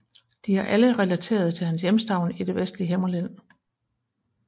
De er alle relaterede til hans hjemstavn i det vestlige Himmerland